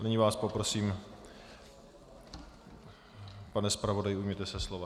Nyní vás poprosím, pane zpravodaji, ujměte se slova.